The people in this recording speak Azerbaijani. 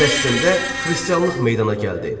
Fələstində xristianlıq meydana gəldi.